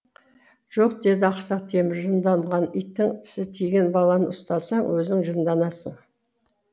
жоқ деді ақсақ темір жынданған иттің тісі тиген баланы ұстасаң өзің жынданасың